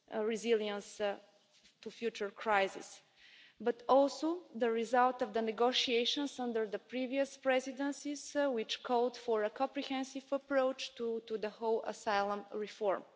resilience to future crises, but also the results of the negotiations under the previous Presidencies, which called for a comprehensive approach to the whole area of asylum reform.